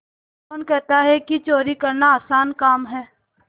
कौन कहता है कि चोरी करना आसान काम है